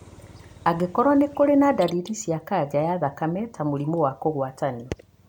Angĩkorũo nĩ kũrĩ na ndariri cia kanca ya thakame, ta mũrimũ wa kũgwatanio.